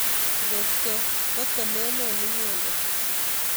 ngot ko kotemenen inyendet